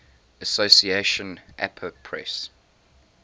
association apa press